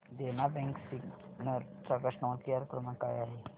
देना bank Sinnar चा customer care क्रमांक काय आहे